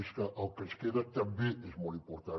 és que el que ens queda també és molt important